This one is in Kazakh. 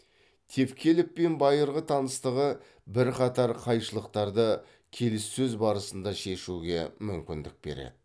тевкелевпен байырғы таныстығы бірқатар қайшылықтарды келіссөз барысында шешуге мүмкіндік береді